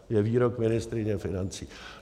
Je výrok ministryně financí.